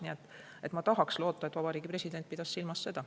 Nii et ma tahan loota, et Vabariigi President pidas silmas seda.